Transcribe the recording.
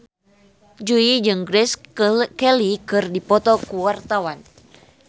Jui jeung Grace Kelly keur dipoto ku wartawan